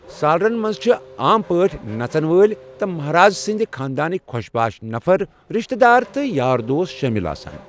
سالرَن منٛز چھِ عام پٲٹھۍ نژن وٲلۍ تہٕ مہراز سٕنٛدِ خانٛدانٕکۍ خۄش باش نفر، رِشتہٕ دار تہٕ یار دوس شٲمِل آسان۔